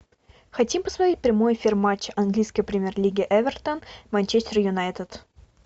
хотим посмотреть прямой эфир матча английской премьер лиги эвертон манчестер юнайтед